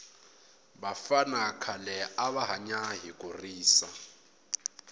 vafana khale ava hanya hi kurisa